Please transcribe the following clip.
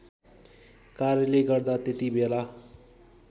कार्यले गर्दा त्यतिबेला